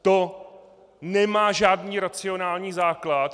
To nemá žádný racionální základ.